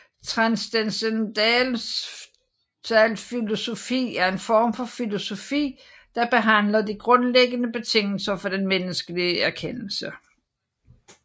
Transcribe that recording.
Transcendentalfilosofi er en form for filosofi der behandler de grundlæggende betingelser for den menneskelige erkendelse